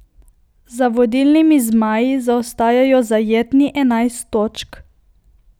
Za vodilnimi zmaji zaostajajo zajetni enajst točk.